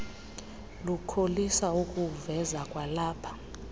lukholisa ukuwuveza kwalapha